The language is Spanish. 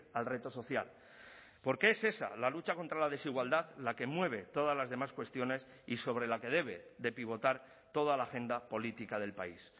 al reto social porque es esa la lucha contra la desigualdad la que mueve todas las demás cuestiones y sobre la que debe de pivotar toda la agenda política del país